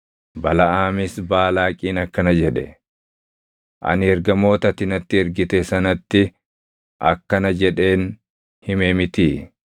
Balaʼaamis Baalaaqiin akkana jedhe; “Ani ergamoota ati natti ergite sanatti akkana jedheen hime mitii?